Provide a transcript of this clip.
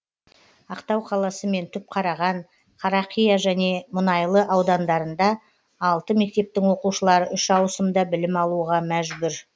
ақтау қаласы мен түпқараған қарақия және мұнайлы аудандарында алты мектептің оқушылары үш ауысымда білім алуға мәжбүр